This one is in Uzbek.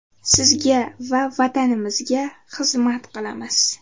Sizga va Vatanimizga xizmat qilamiz.